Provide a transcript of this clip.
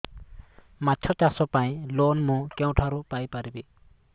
ମାଛ ଚାଷ ପାଇଁ ଲୋନ୍ ମୁଁ କେଉଁଠାରୁ ପାଇପାରିବି